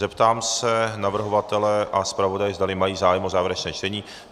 Zeptám se navrhovatele a zpravodaje, zdali mají zájem o závěrečné čtení .